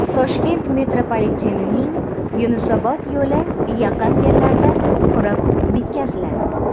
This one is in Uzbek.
Toshkent metropolitenining Yunusobod yo‘li yaqin yillarda qurib bitkaziladi.